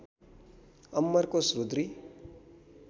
Amarkosh Rudri